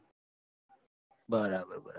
બરાબર બરાબર